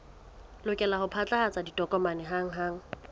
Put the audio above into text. lokela ho phatlalatsa ditokomane hanghang